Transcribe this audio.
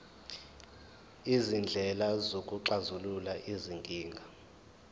izindlela zokuxazulula izinkinga